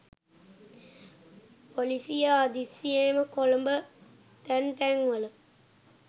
පොලිසිය හදිසියෙම කොළඹ තැන් තැන්වල